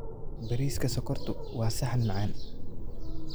Bariiska sokortu waa saxan macaan.